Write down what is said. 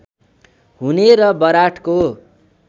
हुने र बराँठको